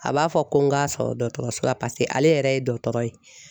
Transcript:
A b'a fɔ ko n k'a sɔrɔ dɔgɔtɔrɔso la paseke ale yɛrɛ ye dɔtɔrɔ ye